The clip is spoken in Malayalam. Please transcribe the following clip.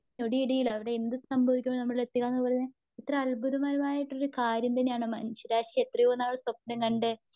അതൊരു ഞൊടിയിടയിൽ അവിടെ എന്തു സംഭവിക്കുന്നു എന്നത് നമ്മളിൽ എത്തുക എന്നു പറയുന്നത് എത്ര അത്ഭുതമായിട്ടുള്ള കാര്യം തന്നെയാണ്. മനുഷ്യരാശി എത്രയോ നാള് സ്വപ്നംകണ്ട്.